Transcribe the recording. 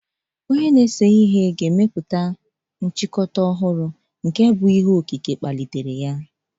Onye na-ese ihe ga-emepụta nchịkọta ọhụrụ sitere n'ike okike.